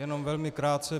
Jenom velmi krátce.